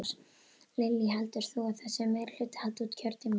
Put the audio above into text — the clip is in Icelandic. Lillý: Heldur þú að þessi meirihluti haldi út kjörtímabilið?